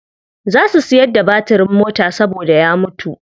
Za su siyar da batirin mota saboda ya mutu.